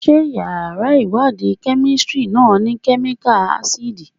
Ṣé yàrá ìwádìí Kẹ́mísítírì náà ni Kẹ́míkà ásídì?